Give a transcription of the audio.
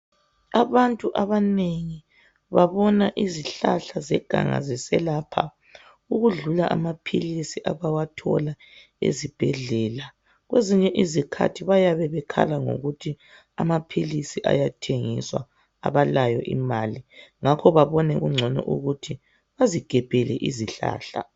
Abantu abanengi babona izihlahla zeganga ziselapha ukudlula amaphilisi abawathola esibhedlela. Kwezinye izikhathi bayabe bekhala ngokuthi amaphilisi ayathengiswa abalayo imali ngakho babone kungcono ukuthi bazigebhele izihlahla.